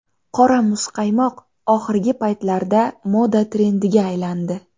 Qora muzqaymoq oxirgi paytlarda moda trendiga aylandi.